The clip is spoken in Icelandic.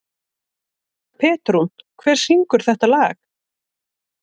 Petrún, hver syngur þetta lag?